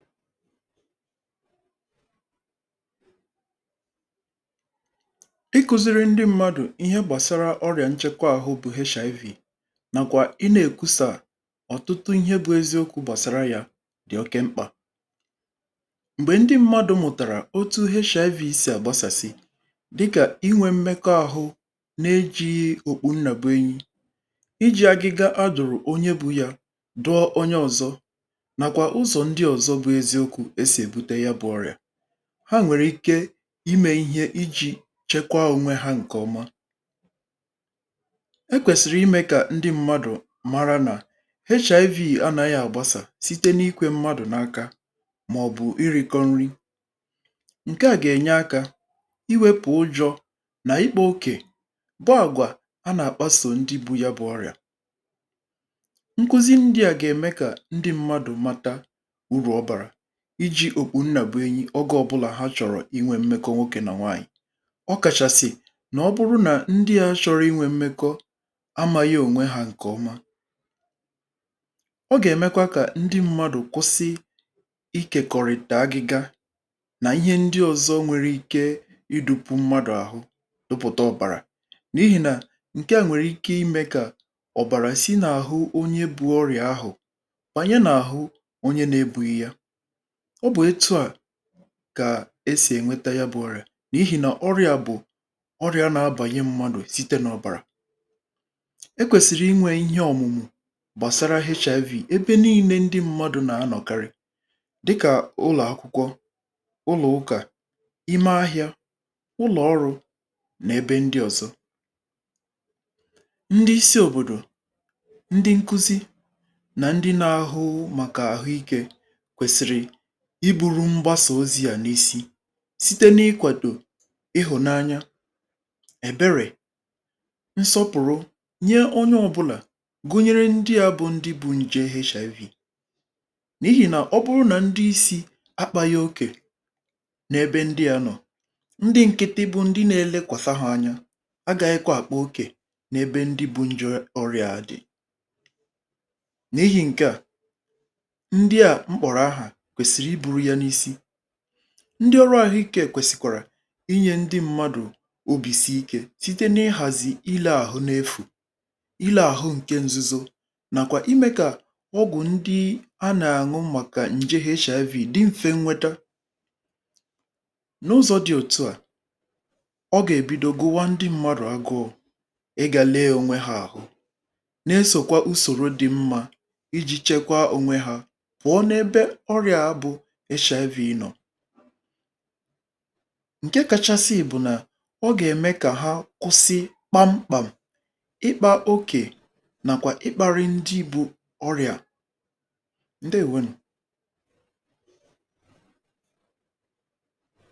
Ikuziri ndị mmadụ̀ ihe gbasara ọrịà nchekwa ahụ bụ HIV nàkwà ị nà-èkwusà ọ̀tụtụ ihe bu eziokwu̇ gbasara yȧ dị̀ oke mkpà. M̀gbè ndị mmadụ̀ mụ̀tàrà otu HIV si àgbasàsị dịkà inwė mmekọ ȧhụ̇ n’ejighị okpu nnà bu enyi,̇ iji̇ agiga adụ̀rụ̀ onye bu yȧ dụọ onye ọ̇zọ̇, nakwa ụzọ ndị ọzọ bụ eziokwu esi ebute ya bụ ọrịa ha nwere ike ime ihe iji̇ chekwaa onwe ha ǹkè ọma, e kwèsìrì imė kà ndị mmadụ̀ mara nà HIV anȧghị àgbasà site n’ikwė mmadụ̀ n’aka màọ̀bụ̀ ịrị̇kọ nrị ǹke à gà-ènye akȧ iwėpù ụjọ̇ nà ikpo okè bụ àgwà a nà-àkpasò ndị bu ya bụ̇ ọrị̀à. Nkuzi ndị à gà-ème kà ndị mmadụ̀ mata uru obara iji̇ okpu̇ nnà bụ̀ enyi̇ ọgà ọbụlà ha chọ̀rọ̀ inwė mmekọ nwokė nà nwaànyị̀, ọ kàchàsị̀ nà ọ bụrụ nà ndị̇ ahụ̇ chọrọ inwė mmekọ amȧghị̇ ònwe hȧ ǹkè ọma, ọ gà-èmekwa kà ndị mmadụ̀ kwụsị ikèkọ̀rị̀tè agị̇gȧ n'ihe ndị ozọ nwere ike idu̇pụ̇ mmadụ̀ àhụ topùta ọ̀bàrà na ihì nà ǹke à nwèrè ike imė kà ọ̀bàrà si n’àhụ onye bu ọrịà ahụ̀ bànyẹ nà-àhụ onye nà-ebùghị ya. Ọ bụ̀ etu à kà e sì ẹ̀nwẹta ya bụ̀ ọrịà nà-ihì nà ọrịà bụ̀ ọrịà nà-abànye mmadụ̀ site nà ọ̀bàrà, ekwèsìrì inwė ihe ọ̀mụ̀mụ̀ gbàsara HIV ebe nii̇nė ndị mmadụ̇ nà-anọ̀karị dịkà ụlọ̀akwụkwọ, ụlọ̀ ụkà, ime ahịȧ, ụlọ̀ ọrụ̇ nà ebe ndị ọ̀zọ. Ndị isi̇ òbòdò, ndị nkuzi nà ndị na-ahụ màkà àhụ ikė kwesịrị ị buru mgbasà ozi à n’isi site n’ịkwàdò ịhụ̀nanya, èberè, nsọpụ̀rụ nye onye ọbụlà gụnyere ndị à bụ ndị bu nje HIV na ihi nà ọ bụrụ nà ndị isi̇ akpȧghị okè n’ebe ndị à nọ̀, ndị nkịtị bụ ndị na-elekwasȧ hȧ anya agaghị kwa àkpà okè n’ebe ndị bu nje ọrịà a dị̀, n'ihi ǹke à ndị à mkpọ̀rọ̀ ahà kwesịrị ịburu ya nà-isi, ndị ọrụ àhụikė kwèsìkwàrà inye ndị mmadụ̀ òbìsi ikė site n’ihàzì ile àhụ n’efù, ile àhụ ǹke nzuzo nàkwa imė kà ọgwụ̀ ndị anà àṅụ màkà ǹjé HIV dị mfe nwete. N'ụzọ̇ dị òtu à, ọ gà-èbidogụwa ndị mmadụ̀ agụọ̇ ị gà lėė ònwe hȧ àhụ n’esòkwa usòro dị mmȧ iji̇ chekwa ònwe hȧ pụọ nà-ebe ọrịa bu HIV nọọ. Ǹke kachasị bụ̀ nà ọ gà-ème kà ha nkwụsị kpamkpam ịkpa okè nàkwà ịkpȧrị ndị bụ̇ ọrịà ǹdėwonù.